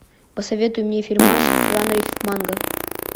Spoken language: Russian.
посоветуй мне фильмас в жанре манга